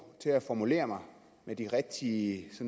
til at formulere mig med de rigtige